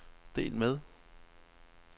del med